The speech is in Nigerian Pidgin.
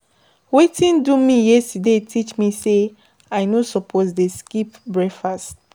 Wetin do me yesterday teach me sey I no suppose dey skip breakfast.